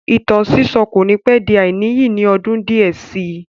Ìtàn sísọ́ kò ní pẹ́ di àìníyì ní ọdún díẹ̀ sí i